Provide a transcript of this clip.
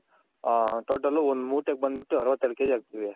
Total ಒಂದ್ ಮೂಟೆ ಗ್ ಬಂದ್ ಬಿಟ್ಟು ಅರ್ವತ್ತ್ ಎರಡ್ KG ಅಕ್ತಿವಿ .